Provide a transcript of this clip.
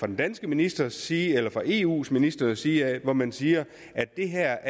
den danske ministers side eller fra eus ministres side og man siger at det her